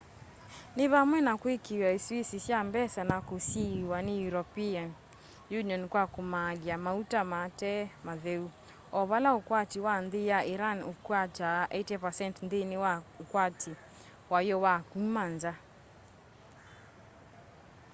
ni vamwe na kwikiiwa isuisi sya mbesa na kusiiwa ni european union kwa kumaalya mauta mate matheu o vala ukwati wa nthi ya iran ukwataa 80% nthini wa ukwati wayo wa kuma nza